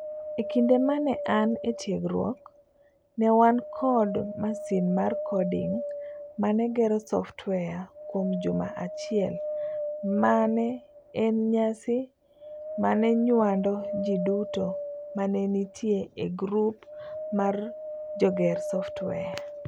Ekinde mane an etiegruok, ne wan kod masin mar coding mane gero software kuom juma achiel mane en nyasi manonyuando ji duto mane nitie e grup mar joger software.